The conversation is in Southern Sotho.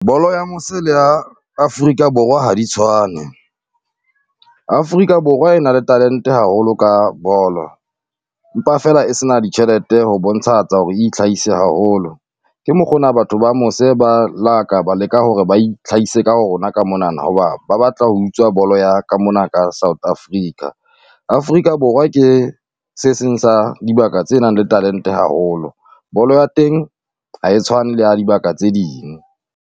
Bolo ya mose le ya Afrika Borwa ha di tshwane, Afrika Borwa e na le talente haholo ka bolo, empa feela e se na ditjhelete ho bontshahatsa hore e itlhahise haholo. ke mokgwa ona batho ba mose ba la ka ba leka hore ba itlhahise ka ho rona ka monana, hoba ba batla ho utswa bolo ya ka mona ka South Africa. Afrika Borwa ke se seng sa dibaka tse nang le talente haholo, bolo ya teng ha e tshwane le ya dibaka tse ding.